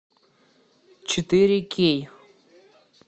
четыре кей